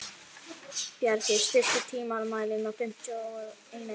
Bjargey, stilltu tímamælinn á fimmtíu og eina mínútur.